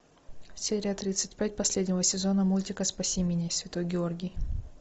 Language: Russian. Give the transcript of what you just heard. серия тридцать пять последнего сезона мультика спаси меня святой георгий